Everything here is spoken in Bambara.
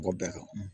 K'o bɛɛ kan